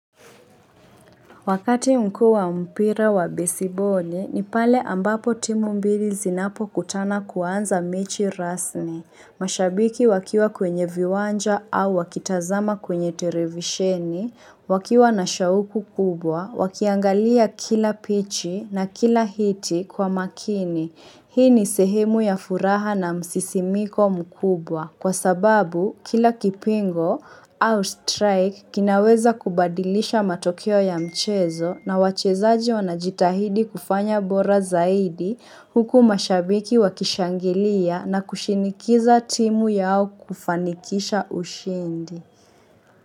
Wakati mkuu wa mpira wa besiboli, ni pale ambapo timu mbili zinapokutana kuanza mechi rasmi. Mashabiki wakiwa kwenye viwanja au wakitazama kwenye televisheni, wakiwa na shauku kubwa, wakiangalia kila pichi na kila hiti kwa makini. Hii ni sehemu ya furaha na msisimiko mkubwa kwa sababu kila kipingo au strike kinaweza kubadilisha matokeo ya mchezo na wachezaji wanajitahidi kufanya bora zaidi huku mashabiki wakishangilia na kushinikiza timu yao kufanikisha ushindi.